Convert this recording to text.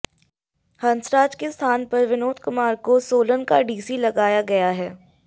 हंसराज के स्थान पर विनोद कुमार को सोलन का डीसी लगाया गया है